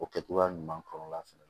O kɛ cogoya ɲuman kɔrɔ la fana